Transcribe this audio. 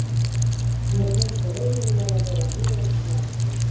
Mér finnst þeir eiginlega vera mjög slakir.